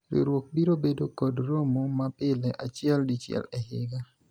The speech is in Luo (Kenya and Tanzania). riwruok biro bedo kod romo ma pile achiel dichiel e higa